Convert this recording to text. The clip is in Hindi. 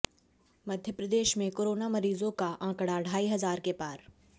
मप्र में कोरोना मरीजों का आंकड़ा ढाई हजार के पार